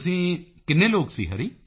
ਤੁਸੀਂ ਕਿੰਨੇ ਲੋਕ ਸੀ ਹਰੀ